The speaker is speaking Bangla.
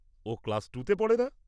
ও ক্লাস টুতে পড়ে না?